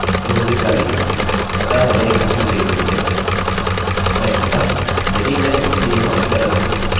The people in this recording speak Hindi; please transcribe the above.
स्पष्टतः यदि मैं इसे यहाँ ऊपर रखूँ तो यह भी एक मान्य कोड होगाजैसा कि वह होना चाहिए